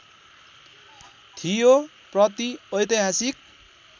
थियो प्रति ऐतिहासिक